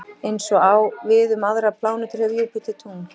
Eins og á við um aðrar plánetur hefur Júpíter tungl.